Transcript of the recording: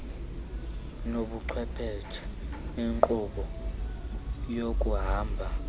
nobuchwephesha benkqubo yokuhamba